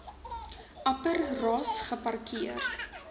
upper ross geparkeer